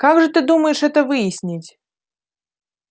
как же ты думаешь это выяснить